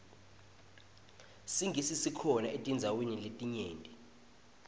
singisi sikhona etindzaweni letinyenti